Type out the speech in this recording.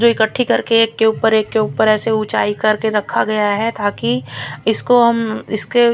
जो एकट्ठी कर के एक के ऊपर एक के ऊपर ऐसे उचाई कर के रखा गया है ताकि इसको हम इसके--